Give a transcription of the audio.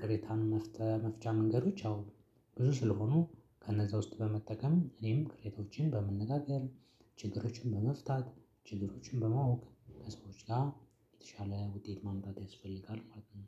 ቅሬታን መፍጠር መፍቻ መንገዶች ያው ብዙ ስለሆኑ ከነዛ ውስጥ በመጠቀም እኔም ቀሬታዎችን በመነጋገር ችግሮችን በመፍታት ችግሮችን በማወቅ ከሰዎች ጋር የተሻለ ውጤት ማምጣት ያስፈልጋል ማለት ነው